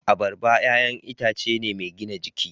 Abarba 'ya'yan itace ne mai gina jiki.